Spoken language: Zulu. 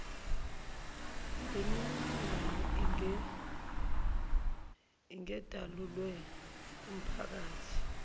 lemininingwane ingedalulwe kumphakathi